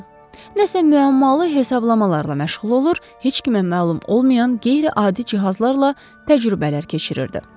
Nəsə müəmmalı hesablamalarla məşğul olur, heç kimə məlum olmayan qeyri-adi cihazlarla təcrübələr keçirirdi.